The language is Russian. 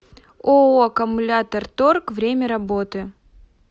ооо аккумуляторторг время работы